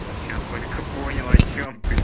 вот сейчас только поняла о чём ты